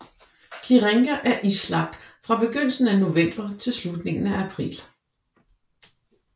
Kirenga er islagt fra begyndelsen af november til slutningen af april